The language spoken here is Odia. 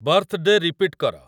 ବାର୍ଥ୍‌ଡେ ରିପିଟ୍ କର